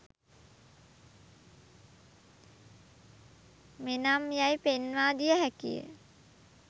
මෙනම් යැයි පෙන්වා දිය හැකිය